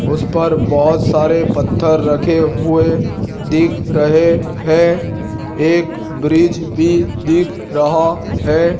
उसपर बहोत सारे पत्थर रखे हुए दिख रहे हैं एक ब्रिज भी दिख रहा है।